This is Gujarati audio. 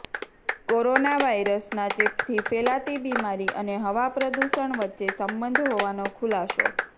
કોરોના વાયરસના ચેપથી ફેલાતી બીમારી અને હવા પ્રદૂષણ વચ્ચે સંબંધ હોવાનો ખુલાસો